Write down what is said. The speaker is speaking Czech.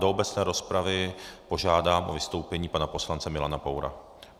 Do obecné rozpravy požádám o vystoupení pana poslance Milana Poura.